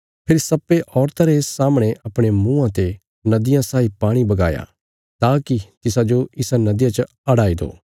फेरी सर्पे औरता रे सामणे अपणे मुँआं ते नदिया साई पाणी बगाया ताकि तिसाजो इसा नदिया च हड़ाई दो